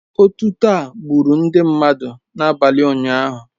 Otuto a gburu ndị mmadụ n'abalị ụnyahụ